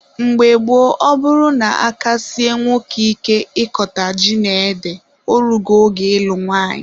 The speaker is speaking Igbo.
Mgbe gboo, ọ bụrụ na aka sie nwoke ike ịkọta ji na ede, o rugo oge ịlụ nwanyị.